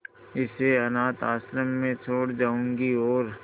इसे अनाथ आश्रम में छोड़ जाऊंगी और